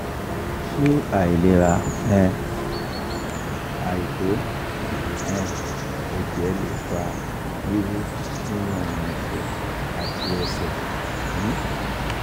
ṣé àìlera um àìto um ẹjẹ lè fa wiwu nínú orun ẹ̀sẹ̀ àti ẹsẹ̀? um